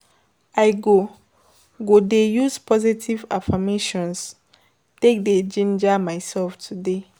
I go go dey use positive affirmations take dey jinja myself today.